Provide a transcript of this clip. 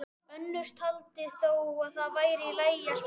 Önnur taldi þó að það væri í lagi að sprengja.